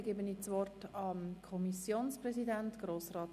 Ich erteile Grossrat Wenger, Kommissionspräsident der SiK, das Wort.